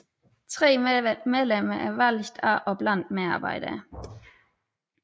Tre medlemmer er valgt af og blandt medarbejderne